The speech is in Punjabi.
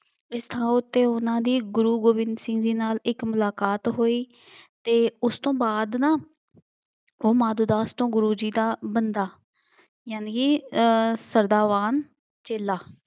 ਇਸ ਥਾਂ ਉੱਤੇ ਉਹਨਾ ਦੀ ਗੁਰੂ ਗੋਬਿੰਦ ਸਿੰਘ ਜੀ ਨਾਲ ਇੱਕ ਮੁਲਾਕਾਤ ਹੋਈ ਅਤੇ ਉਸ ਤੋਂ ਬਾਅਦ ਨਾ ਉਹ ਮਾਧੋ ਦਾਸ ਤੋਂ ਗੁਰੂ ਜੀ ਦਾ ਬੰਦਾ ਯਾਨੀ ਕਿ ਅਹ ਸਦਾ ਵਾਂਗ ਚੇਲਾ